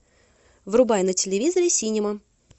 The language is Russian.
врубай на телевизоре синема